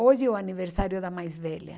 Hoje é o aniversário da mais velha.